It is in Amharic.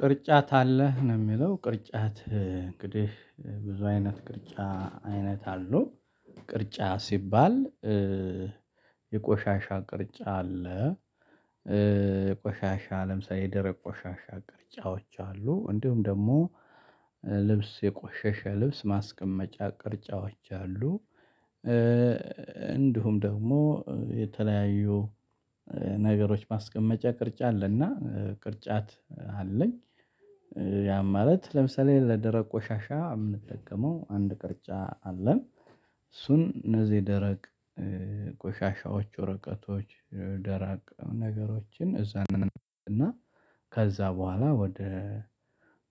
ቅርጫት አለህ ነው የሚለው ቅርጫት እንግዲህ ብዙ አይነት ቅርጫ አይነት አለው ቅርጫ ሲባል የቆሻሻ ቅርጫት አለ። ቆሻሻ ለምሳሌ የደረቅ ቆሻሻ ቅርጫቶች አሉ እንዲሁም ደግሞ ልብስ የቆሸሸ ልብስ ማስቀመጫ ቅርጫቶች አሉ። እንዲሁም ደግሞ የተለያዩ ነገሮች ማስቀመጫ ቅርጫት አለና ቅርጫት አለኝ። ያ ማለት ለምሳሌ ለደረቅ ቆሻሻ የምንጠቀመው አንድ ቅርጫ አለን እሱን እነዚህ ደረቅ ቆሻሻዎች ወረቀቶች ደረቅ ነገሮችን እዛ እና ከዛ በኋላ ወደ